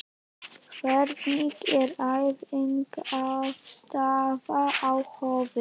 Hvernig er æfingaaðstaðan á Höfn?